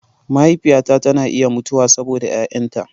Mahaifiyata tana iya mutuwa saboda 'ya'yanta.